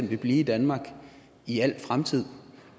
vil blive i danmark i al fremtid